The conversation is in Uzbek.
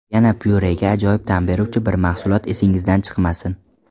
Yana pyurega ajoyib ta’m beruvchi bir mahsulot esingizdan chiqmasin.